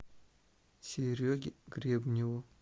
сереге гребневу